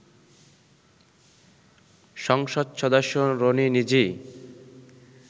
সংসদ সদস্য রনি নিজেই